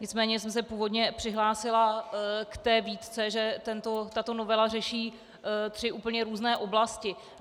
Nicméně jsem se původně přihlásila k té výtce, že tato novela řeší tři úplně různé oblasti.